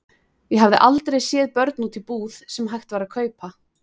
Ég hafði aldrei séð börn úti í búð sem hægt var að kaupa.